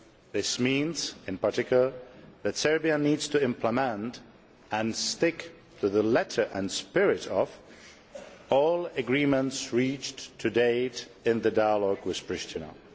This means in particular that Serbia needs to implement and stick to the letter and spirit of all agreements reached to date in the dialogue with Priština.